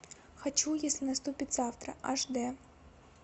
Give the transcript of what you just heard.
хочу если наступит завтра аш д